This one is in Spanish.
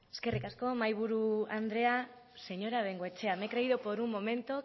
eskerrik asko mahi buru andrea señora bengoechea me he creído por un momento